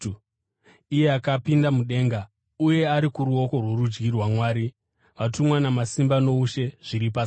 iye akapinda mudenga uye ari kuruoko rworudyi rwaMwari, vatumwa namasimba noushe zviri pasi pake.